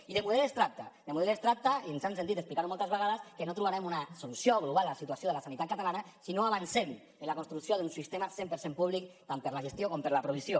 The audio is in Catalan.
i de model es tracta de model es tracta ens han sentit explicar ho moltes vegades que no trobarem una solució global a la situació de la sanitat catalana si no avancem en la construcció d’un sistema cent per cent públic tant per a la gestió com per a la provisió